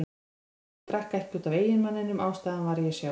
Ég komst að því að ég drakk ekki út af eiginmanninum, ástæðan var ég sjálf.